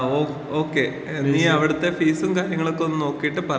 ങ്ങാ ഓക്കെ. നീ അവിടുത്തെ ഫീസും കാര്യങ്ങളുമൊക്കെ ഒന്ന് നോക്കിയിട്ട് പറയൂട്ടാ.